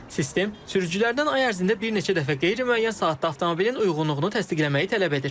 Sistem sürücülərdən ay ərzində bir neçə dəfə qeyri-müəyyən saatda avtomobilin uyğunluğunu təsdiqləməyi tələb edir.